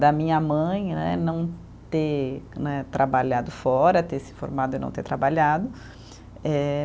Da minha mãe né, não ter né trabalhado fora, ter se formado e não ter trabalhado. Eh